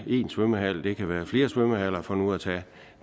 én svømmehal det kan være flere svømmehaller for nu at tage